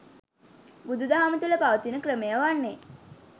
බුදුදහම තුළ පවතින ක්‍රමය වන්නේ